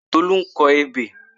Tolú ń kọ ebè.